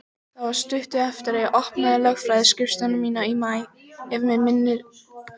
Það var stuttu eftir að ég opnaði lögfræðiskrifstofu mína í maí, ef mig misminnir ekki.